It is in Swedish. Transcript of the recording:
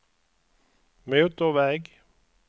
motorväg